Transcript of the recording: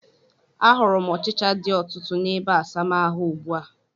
A hụrụ m ọchịcha dị ọtụtụ n'ebeasamaahụ ugbu a